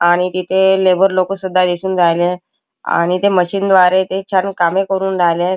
आणि तिथे लेबर लोक सुद्धा दिसुन राहिले आणि ते मशीन द्वारे ते छान कामे करुन राहिलेत.